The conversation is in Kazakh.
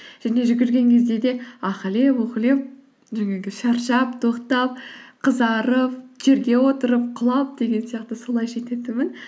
және жүгірген кезде де ахілеп ухілеп жаңағы шаршап тоқтап қызарып жерге отырып құлап деген сияқты солай жететінмін